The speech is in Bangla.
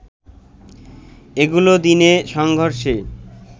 এগুলো দিনে সংঘর্ষে